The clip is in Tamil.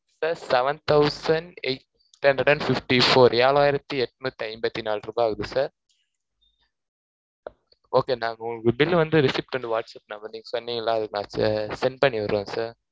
sir seven thousand eight hundred and fifty-four ஏழாயிரத்து எட்நூத்தி ஐம்பத்தி நாலு ரூபாய் ஆகுது sirokay ங்க நான் உங்களுக்கு bill வந்து, receipt whatsapp number நீங்க சொன்னீங்கல, அதுக்கு நான் send பண்ணிவிடறேன், sir